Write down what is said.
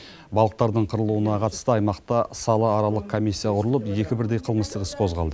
балықтардың қырылуына қатысты аймақта салааралық комиссия құрылып екі бірдей қылмыстық іс қозғалды